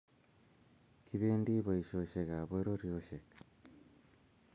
Kipendi boishoshek ab pororieshek